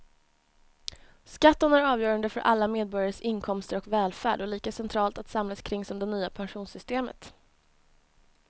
Skatten är avgörande för alla medborgares inkomster och välfärd och lika centralt att samlas kring som det nya pensionssystemet.